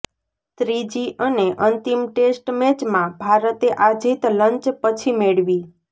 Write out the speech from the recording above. ત્રીજી અને અંતિમ ટેસ્ટ મેચમાં ભારતે આ જીત લંચ પછી મેળવી